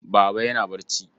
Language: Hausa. Baba yana barci.